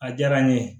A diyara n ye